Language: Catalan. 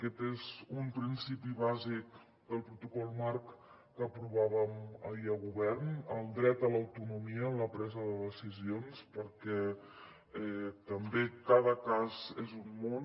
aquest és un principi bàsic del protocol marc que aprovàvem ahir a govern el dret a l’autonomia en la presa de decisions perquè també cada cas és un món